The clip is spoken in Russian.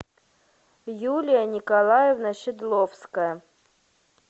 юлия николаевна шедловская